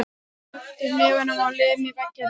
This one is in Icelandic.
Ég kreppi hnefann og lem í vegginn.